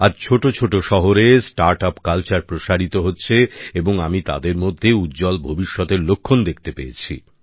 আজ ছোট ছোট শহরে নতুন উদ্যোগের সংস্কৃতি প্রসারিত হচ্ছে এবং আমি তাদের মধ্যে উজ্জ্বল ভবিষ্যতের লক্ষণ দেখতে পেয়েছি